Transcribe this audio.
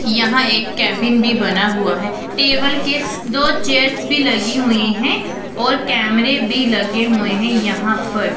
यहां एक केबिन भी बना हुआ है टेबल के स दो चेयर्स भी लगी हुई हैं और कैमरे भी लगे हुए हैं यहां पर।